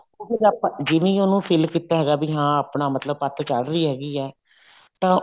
ਫ਼ੇਰ ਆਪਾਂ ਜਿਵੇਂ ਹੀ ਉਹਨੂੰ fill ਕੀਤਾ ਹੈਗਾ ਵੀ ਆਪਣਾ ਮਤਲਬ ਪੱਤ ਚੱਲ ਰਹੀ ਹੈਗੀ ਆ ਤਾਂ